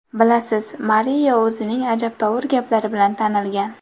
Bilasiz, Mario o‘zining ajabtovur gaplari bilan tanilgan.